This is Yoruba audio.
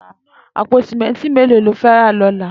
Àpó sìmẹntí méló ló fè rà lọ̀là?